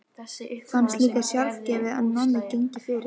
Fannst líka sjálfgefið að Nonni gengi fyrir.